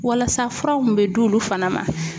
Walasa fura mun bɛ d'olu fana ma